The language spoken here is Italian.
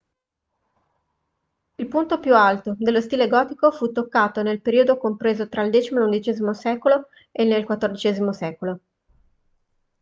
il punto più alto dello stile gotico fu toccato nel periodo compreso tra il x e l'xi secolo e nel xiv secolo